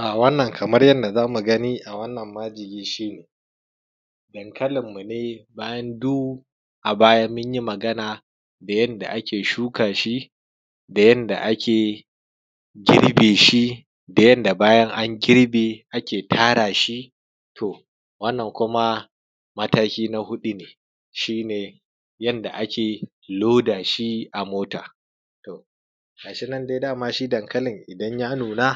A wannan kamar yanda zamu gani a wannan majigi shine dankalin mune bayan du abaya munyi Magana da yanda ake shukashi da yanda ake girbe shi da yanda bayan an girbe ake tarashi. To wannan kuma mataki na huɗu ne shine yanda ake dorashi a mota gashinan dai dama shi dankalin idan ya nuna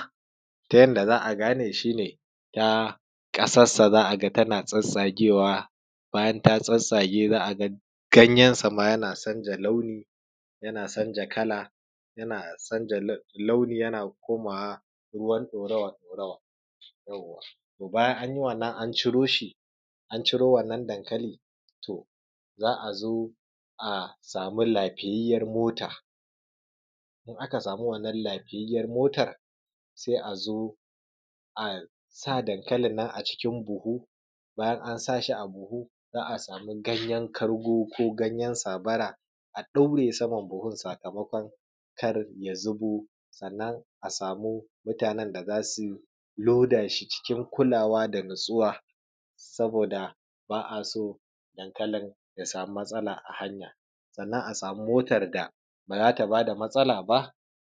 ta yanda za’a gane shine ƙasassa za’aga tana tsatstsagewa bayan ta tsage ganyen sama za’aga tana canza launi yana sanja kala gayan sama yana komawa ruwan ɗorawa ɗorawa. Bayan anyi wannan an ciroshi an ciro wannan dankali, to za’azo a sami lafiyayyar mota in aka sami wannan lafiyayyar motar sai azo asa dankalin nan a cikin buhu, in an sashi a buhu za’a samu ganyen kargo ko ganyen sabara a ɗaure saman buhun sakamakon karya zubo. Sannan a sami mutanen da zasu lodashi cikin kulawa da natsuwa saboda ba’a so dankalin ya sami matsala a hanya, sannan a sami motar da bazata bada matsala ba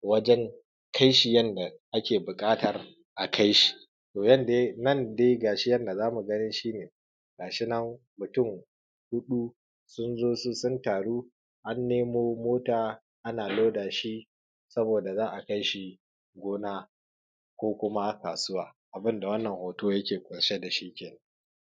wajen kaishi yanda ake buƙatar a kaishi. Nan dai gashi yanda zamu gani shine gashi nan mutun huɗu sunzo sun taru an nemo mota ana lodashi sabo za’a kaishi gona ko kuma kasuwa abunda wannan hoto yake ƙunshe dashi kenan.